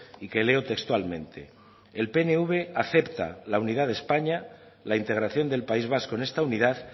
y que leo textualmente el pnv acepta la unidad de españa la integración del país vasco en esta unidad